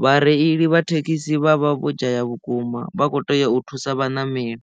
vhareili vha thekhisi vha vha vho dzhaya vhukuma vha kho tea u thusa vhaṋameli.